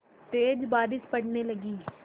तेज़ बारिश पड़ने लगी